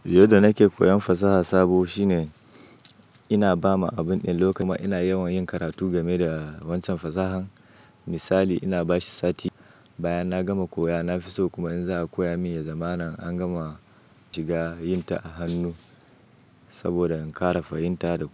Yadda nake koyan fasaha sabo shine ina ba ma abun ɗin lokaci kuma ina yawan yin karatu game da waccan fasahan. Misali ina bashi sati, bayan na gama koya na fi so kuma in za a koya min ya zamana an gama shiga yin ta a hannu saboda in ƙara fahimta da-